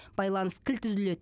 байланыс кілт үзіледі